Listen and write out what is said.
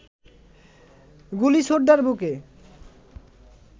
গুলি ছোটদার বুকে